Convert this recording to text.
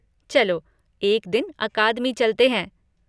चलो, एक दिन अकादमी चलते हैं!